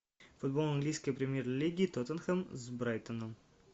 футбол английской премьер лиги тоттенхэм с брайтоном